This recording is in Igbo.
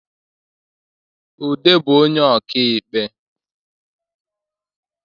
Ude bu onye ọka ikpe